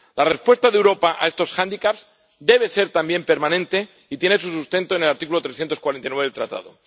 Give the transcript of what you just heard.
La respuesta de Europa a estos hándicaps debe ser también permanente y tiene su sustento en el artículo 349 del Tratado.